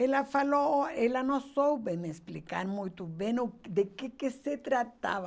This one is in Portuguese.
Ela falou, ela não soube me explicar muito bem o de que que se tratava.